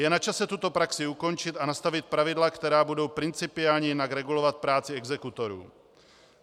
Je na čase tuto praxi ukončit a nastavit pravidla, která budou principiálně jinak regulovat práci exekutorů.